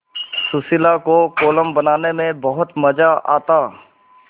सुशीला को कोलम बनाने में बहुत मज़ा आता